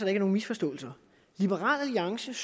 er nogen misforståelse at liberal alliance